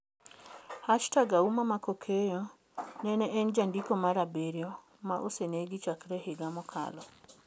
#Auma Mckakeyo nni en jandiko mar abiriyo ma osenegi chakre higa mokalo.